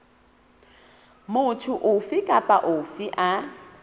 motho ofe kapa ofe a